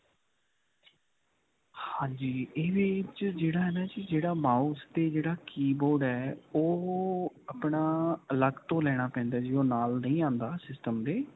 ਹਾਂਜੀ. ਇਹਦੇ ਵਿੱਚ ਜਿਹੜਾ ਹੈ ਨਾ ਜੀ ਜਿਹੜਾ mouse ਤੇ ਜਿਹੜਾ keyboard ਹੈ. ਉਹ ਆਪਣਾ ਅਲਗ ਤੋਂ ਲੈਣਾ ਪੈਂਦਾ ਹੈ. ਜੀ ਉਹ ਨਾਲ ਨਹੀਂ ਆਉਂਦਾ system ਦੇ.